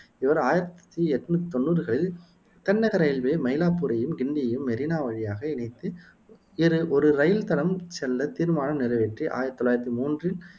இவர் ஆயிரத்தி என்னுத்தி தொன்னூருகளில் தென்னக ரயில்வே, மயிலாப்பூரையும், கிண்டியையும் மெரினா வழியாக இணைத்து இரு ஒரு இரயில் தடம் செல்ல தீர்மானம் நிறைவேற்றி ஆயிரத்தி தொள்ளாயிரத்தி மூன்றில்